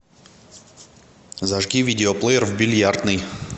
зажги видеоплеер в бильярдной